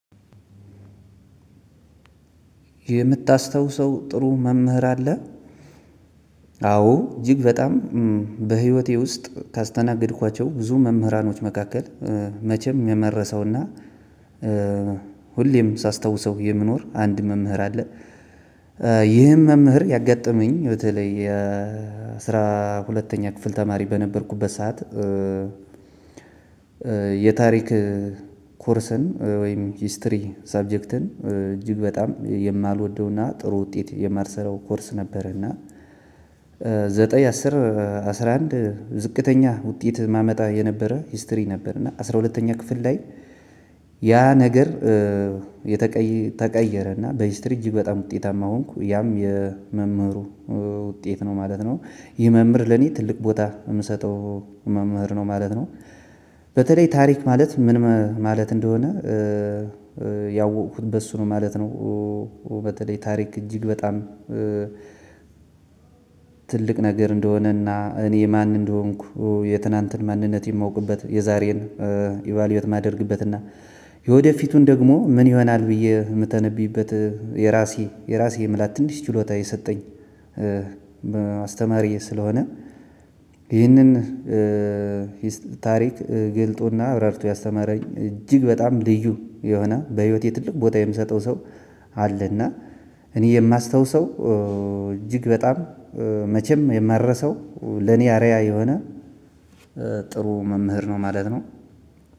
የምታስታውሰው ጥሩ መምህር አለ? አዎ እጅግ በጣም በህይወቴ ውስጥ ካስተናገድኳቸው ብዙ መምህራኖች መካከል መቼም የማረሳው እና ሁሌም ሳስታውሰው የምኖር አንድ መምህር አለ። ይህም መምህር ያጋጠመኝ በተለይ የ አስራ ሀለተኛ ክፍል ተማሪ በነበርኩበት ሰዓት ላይ። የታሪክ ኮርስን ወይም ሂስትሪ ሰብጀክትን እጅግ በጣም የማልወደውና ጥሩ ውጤት የማልሰራው ኮርስ ነበር። እና ዘጠኝ አስር አስራ አንድ ዝቅተኛ ውጤት እማመጣ የነበረ ሂስትሪ ነበር። እና አስራ ሁለተኛ ክፍል ላይ ያ ነገር። ተቀየረ እና በሂስትሪ እጅግ በጣም ውጤታማ ሆንኩ ያም የመምህሩ ውጤት ነው ማለት ነው። ይህ መምህር ለኔ ትልቅ ቦታ እምሰጠው መምህር ነው ማለት ነው። በተለይ ታሪክማለት ምን ማለት እንደሆነ። ያወኩት በእሱ ነው ማለት ነው። በተለይ ታሪክ እጅግ በጣም። ትልቅ ነገር እንደሆነና እኔ ማን እንደሆንኩ የትናንትን ማንነቴን እማውቅበት የዛሬን ኢቫልዩት እማረግበት እና የወደፊቱን ደግሞ ምን ይሆናል ብዬ የምተነብይበት የራሴ የራሴ የምላት ትንሽ ችሎታ የሰጠኝ። አስተማሪየ ስለሆነ። ይህንን ታሪክ ገልጦና አብራርቶ ያስተማረኝ እጅግ በጣም ልዩ የሆነ በህይወቴ ትልቅ ቦታ የምሰጠው ሰው። አለ እና እኔ የማስታውሰው እጅግ በጣም መቼም የማረሰው ለኔ አርእያ የሆነ ጥሩ መምህር ነው ማለት ነው።